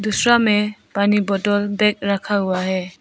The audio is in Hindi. दूसरा में पानी बोटल बैग रखा हुआ है।